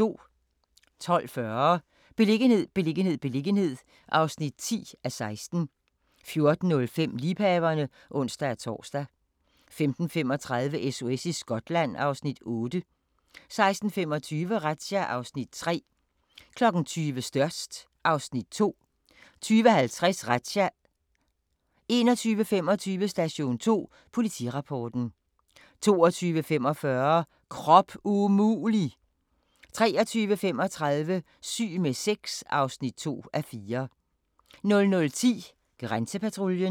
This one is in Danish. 12:40: Beliggenhed, beliggenhed, beliggenhed (10:16) 14:05: Liebhaverne (ons-tor) 15:35: SOS i Skotland (Afs. 8) 16:25: Razzia (Afs. 3) 20:00: Størst (Afs. 2) 20:50: Razzia 21:25: Station 2: Politirapporten 22:45: Krop umulig! 23:35: Syg med sex (2:4) 00:10: Grænsepatruljen